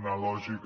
una lògica